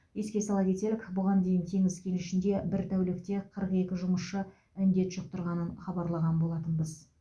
еске сала кетелік бұған дейін теңіз кенішінде бір тәулікте қырық екі жұмысшы індет жұқтырғанын хабарлаған болатынбыз